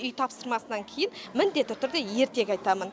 үй тапсырмасынан кейін міндетті түрде ертегі айтамын